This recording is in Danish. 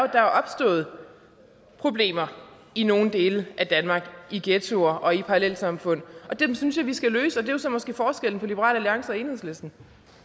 er opstået problemer i nogle dele af danmark i ghettoer og i parallelsamfund og dem synes jeg vi skal løse og jo så måske forskellen på liberal alliance og enhedslisten